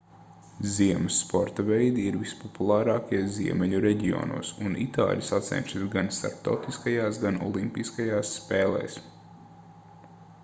ziemas sporta veidi ir vispopulārākie ziemeļu reģionos un itāļi sacenšas gan starptautiskajās gan olimpiskajās spēlēs